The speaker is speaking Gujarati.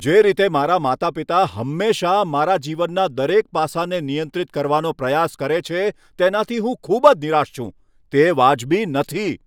જે રીતે મારાં માતા પિતા હંમેશાં મારા જીવનના દરેક પાસાને નિયંત્રિત કરવાનો પ્રયાસ કરે છે, તેનાથી હું ખૂબ જ નિરાશ છું. તે વાજબી નથી.